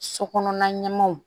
So kɔnɔna ɲɛmaaw